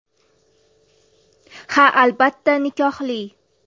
Ha, albatta, nikohli.